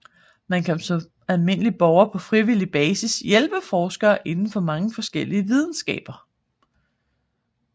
Man kan som almindelig borger på frivillig basis hjælpe forskere inden for mange forskellige videnskaber